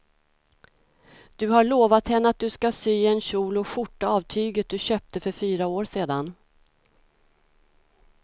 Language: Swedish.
Du har lovat henne att du ska sy en kjol och skjorta av tyget du köpte för fyra år sedan.